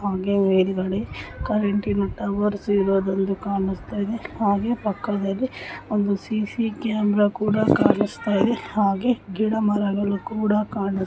ಹಾಗೆ ಹೊರಗಡೆ ಕರೆಂಟಿನ ಟವರ್ಸ್ ಇರೋದೊಂದು ಕಾಣಿಸ್ತಾಯಿದೆ ಹಾಗೆ ಪಕ್ಕದಲ್ಲಿ ಒಂದು ಸಿ.ಸಿ ಕ್ಯಾಮೆರಾ ಕೂಡ ಕಾಣಿಸ್ತಾಯಿದೆ ಹಾಗೆ ಗಿಡ ಮರಗಳು ಕೂಡ ಕಾಣಿ --